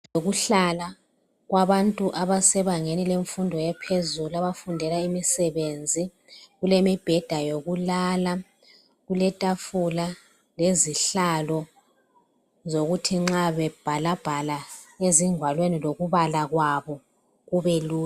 Ukuhlala kwabantu abasebangeni lemfundo yaphezulu, abafundela imisebenzi. Kulemibheda yokulala. Kuletafula lezihlalo zokuthi nxa bebhalabhala, lokubala kwabo kubelula.